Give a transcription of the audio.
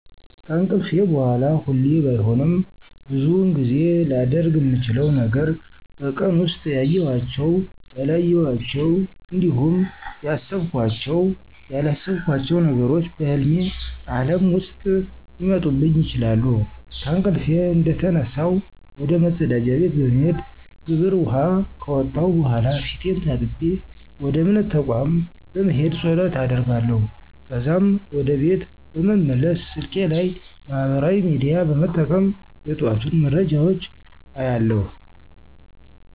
ከእንቅልፌ በሗላ ሁሌ ባይሆንም ብዙውን ጊዜ ላደርግ ምችለው ነገር በቀን ውስጥ ያዬኋቸው፣ ያላየኋቸው እንዲሁም ያሰብኳቸው፣ ያላሰብኳቸው ነገሮች በህልሜ ዓለም ውስጥ ሊመጡብኝ ይችላሉ። ከእንቅልፌ እንደተነሳሁ ወደ መፀዳጃ ቤት በመሄድ ግብር ውኃ ከወጣሁ በኃላ ፊቴን ታጥቤ ወደ እምነት ተቋም በመሄድ ፀሎት አደርጋለሁ። ከዛም ወደ ቤት በመመለስ ስልኬ ላይ ማህበራዊ ሚዲያ በመጠቀም የጠዋቱን መረጃዎች አያለሁ።